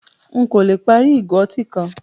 Nkọ̀ lẹ pári igo ọ̀tí kan